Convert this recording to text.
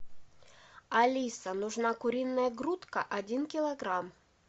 алиса нужна куриная грудка один килограмм